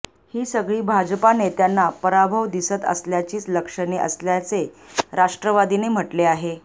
ही सगळी भाजपा नेत्यांना पराभव दिसत असल्याचीच लक्षणे असल्याचे राष्ट्रवादीने म्हटले आहे